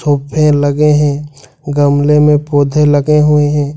लगे हैं गमले में पौधे लगे हुए हैं।